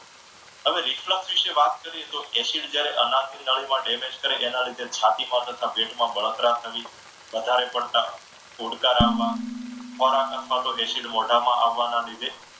હવે reflect વિશે વાત કરીએ તો acid જ્યારે અનાવ નળીમાં damage કરે એના લીધે, છાતી તથા પેટમાં બળતરા થવી વધારે પડતા ઓડકારામાં ખોરાક અથવા તો acid મોઢામાં આવવાના લીધે